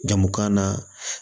Jamu kan na